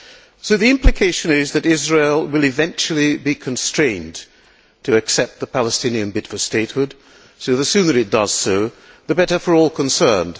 So the implication is that Israel will eventually be constrained to accept the Palestinian bid for statehood, so the sooner it does so, the better for all concerned.